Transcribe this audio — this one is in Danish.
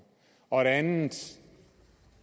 og noget andet